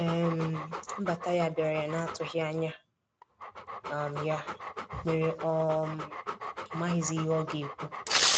um Nbata ya biara ya na atughi anya um ya mere ọ um maghi zi ihe ọga ekwụ.